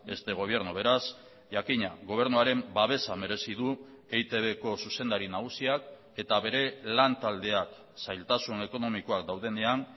este gobierno beraz jakina gobernuaren babesa merezi du eitbko zuzendari nagusiak eta bere lantaldeak zailtasun ekonomikoak daudenean